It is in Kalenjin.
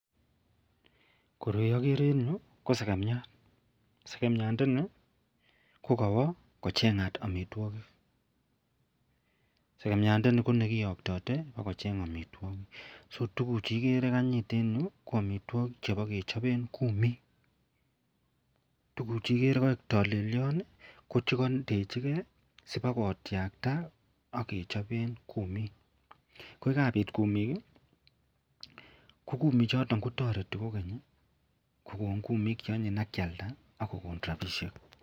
Koroi agere en ireyu ko sekemiat, sekemiat ndani kokawa kochengat amitwagik sekemiat niton ko nekiyoktate kocheng amitwagik ako tuguk Chu igere kanyit en ireyu ko amitwagik chebakechoben kumik tuguk chuikere kokaik talelion ko kandechigei sikowakwam akotiakta akecheben kumik koyikabit kumik kokumik choton kotareti kogeny kokon kumik cheanyin akeyalda akokon rabishek